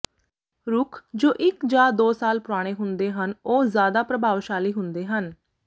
ਰੁੱਖ ਜੋ ਇੱਕ ਜਾਂ ਦੋ ਸਾਲ ਪੁਰਾਣੇ ਹੁੰਦੇ ਹਨ ਉਹ ਜ਼ਿਆਦਾ ਪ੍ਰਭਾਵਸ਼ਾਲੀ ਹੁੰਦੇ ਹਨ